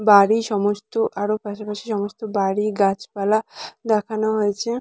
বাড়ি সমস্ত আরও পাশাপাশি সমস্ত বাড়ি গাছপালা দেখানো হয়েছে।